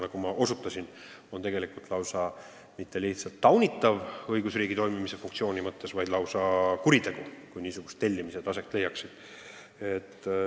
Nagu ma osutasin, see poleks mitte lihtsalt taunitav, vaid lausa kuritegu, kui niisugused tellimised aset leiaksid.